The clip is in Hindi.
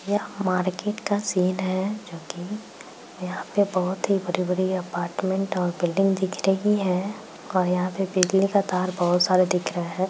यह मार्केट का सीन है जो कि यहाँ पे बहुत ही बड़े-बड़े अपार्टमेंट और बिल्डिंग दिख रही है और यहाँ पे बिजली के तार बहुत सारे दिख रहे।